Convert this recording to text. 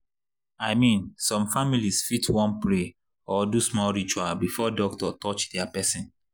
i mean some families fit wan pray or do small ritual before doctor touch their person.